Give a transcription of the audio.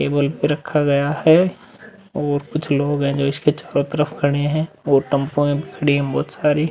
Table पर रखा गया है और कुछ लोग हैं जो इसके चारो तरफ खड़े है और टेम्पूयें खड़ी है बहोत सारी।